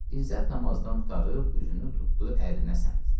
İzzət namazdan qurtarıb üzünü tutdu ərinə səmt.